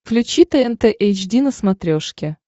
включи тнт эйч ди на смотрешке